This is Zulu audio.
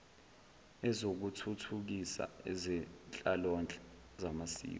ezokuthuthukisa ezenhlalonhle zamasiko